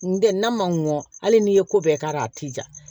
N tɛ n'a man ŋɔn hali n'i ye ko bɛɛ k'a la a ti ja